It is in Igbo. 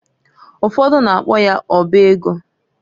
Ufodu na-akpo ya ọba ego.